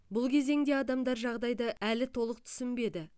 бұл кезеңде адамдар жағдайды әлі толық түсінбеді